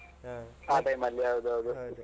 ಆಹ್ ಆ time ಅಲ್ಲಿ ಹೌದೌದು.